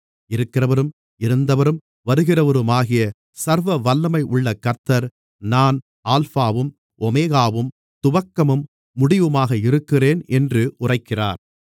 இருக்கிறவரும் இருந்தவரும் வருகிறவருமாகிய சர்வவல்லமையுள்ள கர்த்தர் நான் அல்பாவும் ஓமெகாவும் துவக்கமும் முடிவுமாக இருக்கிறேன் என்று உரைக்கிறார்